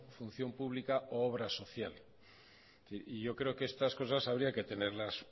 función pública u obra social y yo creo que estas cosas habría que tenerlas